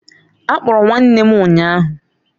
A kpọrọ m nwanne m ụnyahụ